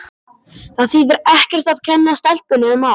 Það þýðir ekkert að kenna stelpunni um allt.